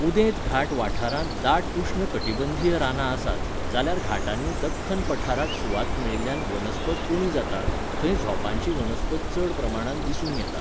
उदेंत घाट वाठारांत दाट उश्ण कटिबंधीय रानां आसात, जाल्यार घाटांनी दख्खन पठाराक सुवात मेळिल्ल्यान वनस्पत उणी जाता, थंय झोंपांची वनस्पत चड प्रमाणांत दिसून येता.